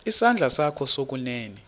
isandla sakho sokunene